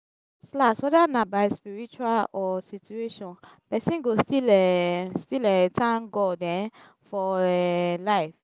las las weda na by spiritual or situation pesin go still um still um tank god um for um lyf